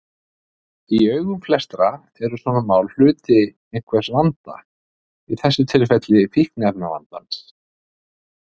Í augum flestra eru svona mál hluti einhvers vanda, í þessu tilfelli fíkniefnavandans.